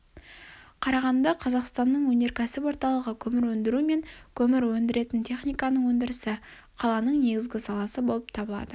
қарағанды-қазақстанның өнерксіп орталығы көмір өндіру мен көмір өндіретін техниканың өндірісі қаланың негізгі саласы болып табылады